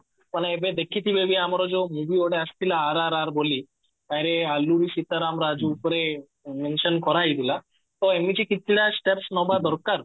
ତମେ ଏବେ ଦେଖିଥିବ ବି ଆମର ଯୋଉ movie ଗୋଟେ ଆସିଥିଲା RRR ବୋଲି ରେ ଆଲୁ ସୀତାରାମ ରାଜୁ ଉପରେ mention କରାହେଇଥିଲା ତ ଏମିତି କିଛି ଟା steps ନବା ଦରକାର